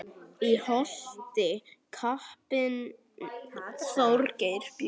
Í Holti kappinn Þorgeir bjó.